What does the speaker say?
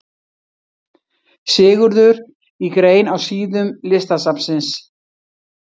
Sigurður í grein á síðum Listasafnsins.